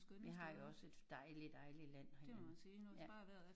Vi har jo også et dejligt dejligt land herhjemme